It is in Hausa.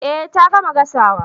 Eh ta gama gasawa